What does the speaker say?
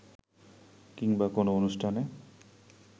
কিংবা কোনো অনুষ্ঠানে